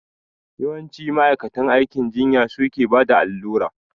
Yawanci ma'aikatan aikin jinya su ke bada allura